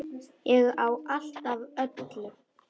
Ég á allt af öllu!